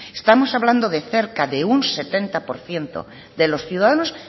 estamos hablando de cerca de un setenta por ciento de los ciudadanos